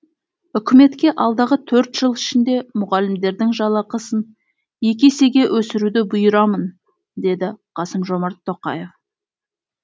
үкіметке алдағы төрт жыл ішінде мұғалімдердің жалақысын екі есеге өсіруді бұйырамын деді қасым жомарт тоқаев